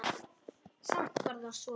Samt var það svo.